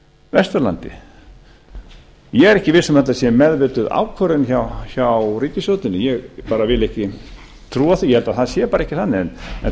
vesturlandi ég er ekki viss um að þetta sé meðvituð ákvörðun hjá ríkisstjórninni ég bara vil ekki trúa því og held að það sé bara ekki þannig en